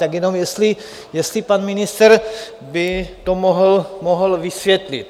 Tak jenom jestli pan ministr by to mohl vysvětlit.